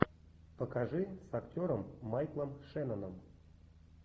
покажи с актером майклом шенноном